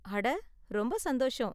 அட! ரொம்ப சந்தோசம்.